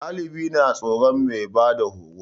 Ɗalibai na tsoron mai bada horo